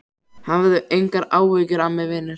Hafðu engar áhyggjur af mér, vinur!